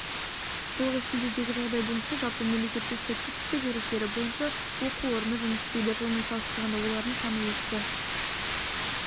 жылғы шілдедегі жағдай бойынша жалпы мемлекеттік статистика деректері бойынша оқу орны жұмыс істейді жылмен салыстырғанда олардың саны өсті